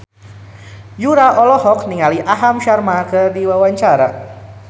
Yura olohok ningali Aham Sharma keur diwawancara